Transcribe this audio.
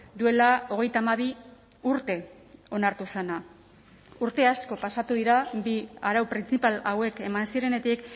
duela hogeita hamabi urte onartu zena urte asko pasatu dira bi arau printzipal hauek eman zirenetik